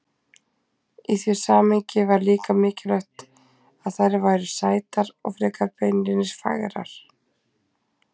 Í því samhengi var líka mikilvægt að þær væru sætar frekar en beinlínis fagrar.